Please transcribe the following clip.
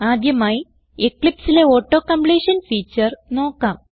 ആദ്യമായി Eclipseലെ auto completion feature നോക്കാം